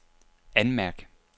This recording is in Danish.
anmærk